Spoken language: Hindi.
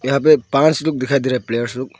यहां पे पांच लोग दिखाई दे रहे हैं प्लेयर्स लोग।